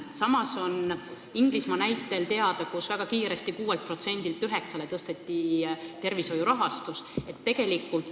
Samas on Inglismaa näitel teada, mis juhtub, kui väga kiiresti tõsta tervishoiu rahastus 6%-lt 9%-ni SKT-st.